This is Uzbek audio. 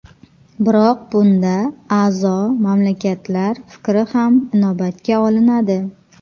Biroq bunda a’zo mamlakatlar fikri ham inobatga olinadi.